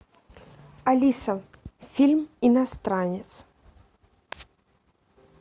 алиса фильм иностранец